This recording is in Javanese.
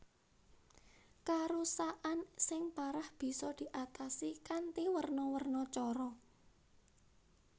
Karusakan sing parah bisa diatasi kanthi werna werna cara